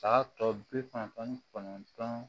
tɔ bi kɔnɔntɔn ni kɔnɔntɔn